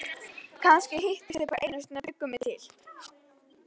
Kannski hittust þau bara einu sinni og bjuggu mig til.